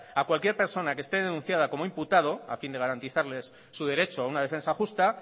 a cualquier persona que esté denunciada como imputado a fin de garantizarles su derecho a una defensa justa